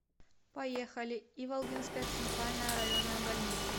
поехали иволгинская центральная районная больница